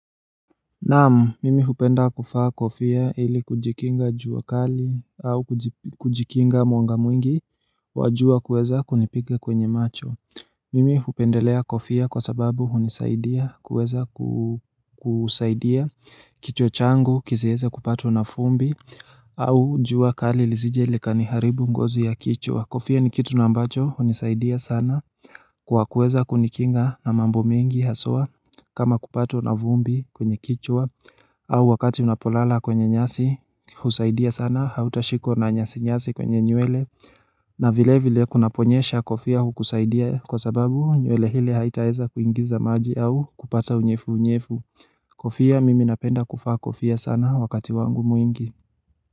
Naam, mimi hupenda kuvaa kofia ili kujikinga jua kali au kujikinga mwanga mwingi wa jua kuweza kunipiga kwenye macho. Mimi hupendelea kofia kwa sababu hunisaidia kuweza kusaidia kichwa changu kisiweze kupatwa na vumbi au jua kali lisije likaniharibu ngozi ya kichwa, kofia ni kitu ambacho hunisaidia sana kwa kuweza kunikinga na mambo mengi haswa, kama kupatwa na vumbi kwenye kichwa au wakati ninapolala kwenye nyasi, husaidia sana hautashikwa na nyasi nyasi kwenye nywele na vile vile kunaponyesha kofia hukusaidia kwa sababu nywele ile haitaweza kuingiza maji au kupata unyevu unyevu Kofia mimi napenda kuvaa kofia sana wakati wangu mwingi.